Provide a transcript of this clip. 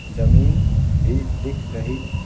जमीन भी दिख रही --